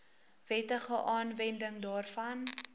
wettige aanwending daarvan